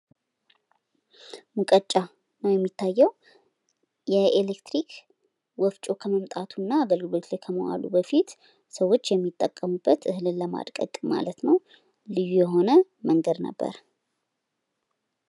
ሙቀጫ ነው የሚታየዉ፣ የኤሌክትሪክ ወፍጮ ከመምጣቱ እና አገልግሎት ላይ ከመዋሉ በፊት ፤ ሰዎች የሚጠቀሙበት እህልን ለማድቀቅ ማለት ነው ልዩ የሆነ መንገድ ነበረ።